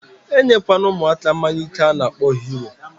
Enye kwana umuaka mmanya ike ana akpo Hero